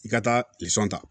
I ka taa ta